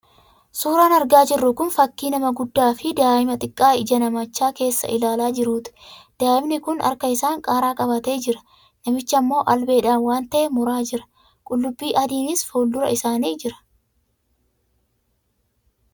Suuraan argaa jirru kun fakii nama guddaa fi daa'ima xiqqaa ija namichaa keessa ilaalaa jirtuuti. Daa'imni kun harka isaan qaaraa qabatee jira, namichi ammoo albeedhaan waan ta'e muraa jira. Qullubbii adiinis fuul-dura isaanii jira.